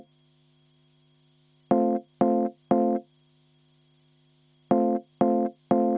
Lauri Laats, palun!